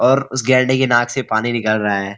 और उस गेंडे के नाक से पानी निकल रहा है।